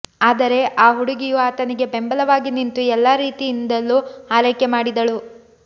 ಆದರೆ ಆ ಹುಡುಗಿಯು ಆತನಿಗೆ ಬೆಂಬಲವಾಗಿ ನಿಂತು ಎಲ್ಲಾ ರೀತಿಯಿಂದಲೂ ಆರೈಕೆ ಮಾಡಿದಳು